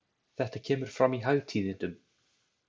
Þetta kemur fram í Hagtíðindum.